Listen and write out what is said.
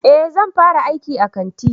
Eh zan fara aiki a kanti